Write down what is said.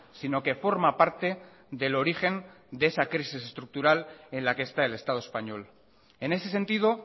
sino que forma parte del origen de esa crisis estructural en la que está el estado español en ese sentido